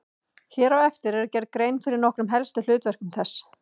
Hér á eftir er gerð grein fyrir nokkrum helstu hlutverkum þess.